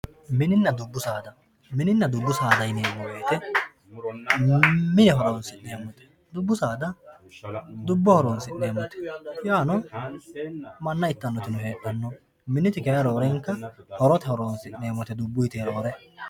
Mininna dubu saada, minina fubu saada yineemo woyite mine horonsineemote, dubu saada dubboho horonsineemotte yaano mana ittanotino hredhano miniti kayini roorrenka horote horonsineemote dubbuyite roore